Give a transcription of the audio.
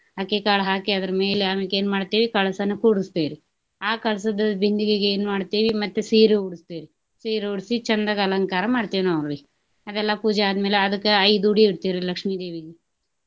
ಅಕ್ಕಿಕಾಳ ಹಾಕಿ ಅದರ ಮೇಲೆ ಅಮ್ಯಾಕ್ ಏನ ಮಾಡ್ತೇವಿ ಕಳಸನ ಕೂಡ್ಸ್ತೇವ್ರಿ. ಆ ಕಳಸದ ಬಿಂದಿಗೆಗೆ ಏನ ಮಾಡ್ತೇವಿ ಮತ್ತೆ ಸೀರಿ ಉಡ್ಸ್ತೇವ್ರಿ. ಸೀರೆ ಉಡ್ಸಿ ಚಂದಗೆ ಅಲಂಕಾರ ಮಾಡ್ತೇವ ನೋಡ್ರಿ. ಅದೆಲ್ಲಾ ಪೂಜಾ ಆದ ಮ್ಯಾಲ ಅದಕ್ಕ ಐದ ಉಡಿ ಇಡ್ತೇವ್ರಿ ಲಕ್ಷ್ಮೀ ದೇವಿಗೆ.